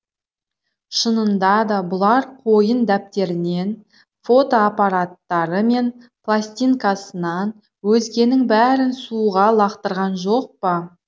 шынында да бұлар қойын дәптерінен фотоапараттары мен пластинкасынан өзгенің бәрін суға лақтырған жоқ па